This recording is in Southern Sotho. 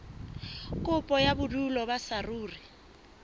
kopo ya bodulo ba saruri